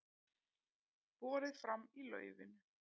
Borið fram í laufinu